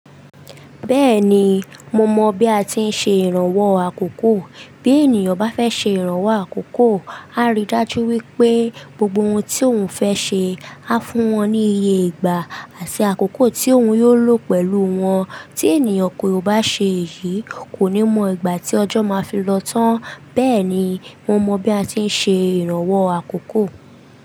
Bẹ́ẹ̀ni, mo mọ bi a ti ń ṣe ìrànwọ́ àkókò. Bi ènìyàn bá fẹ́ ṣe ìrànwọ́ àkókò, á ríi dájú wípé gbogbo ohun tí òun fẹ́ ṣe, á fún wọn ní iye ìgbà àti àkókò tí òun yóò lò pẹ̀lú wọn. Ti ènìyàn kò bá ṣe èyí, kò ní mọ ìgbà tí ọjọ́ máa fi lọ tán. Bẹ́ẹ̀ ni, mo mọ bi a ti ń ṣe ìrànwọ́ àkókò.